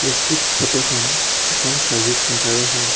প্ৰস্তুত ফটোখন এখন চাৰ্ভিছ চেণ্টাৰৰ হয়।